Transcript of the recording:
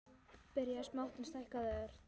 Byrjað smátt, en stækkað ört.